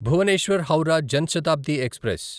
Bhubaneswar Howrah Jan Shatabdi express